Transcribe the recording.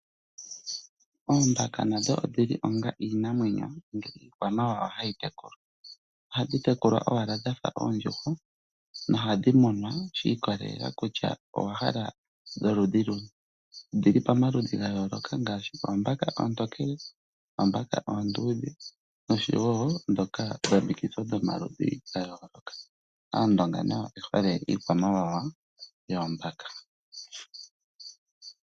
Oombaka nadho odhi li onga iinamwenyo nenge iikwamawawa mbyoka hayi tekulwa. Ohadhi tekulwa owala dha fa oondjuhwa nohadhi munwa shiikolelela kutya owa hala dholwaala luni. Odhi li pamaludhi ga yooloka ngaashi oombaka oontokele, oombaka oondudhe nosho wo ndhoka dha vundakanithwa dhomalwaala gayooloka. Aandonga nayo oye hole iikwamawawa yoombaka.